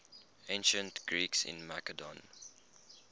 ancient greeks in macedon